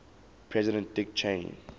president dick cheney